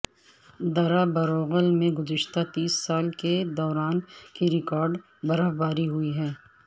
درہ بروغل میں گزشتہ تیس سال کے دوران کی ریکارڈ برفباری ہوئی ہے